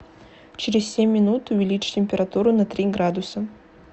через семь минут увеличить температуру на три градуса